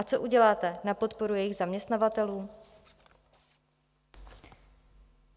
A co uděláte na podporu jejich zaměstnavatelů?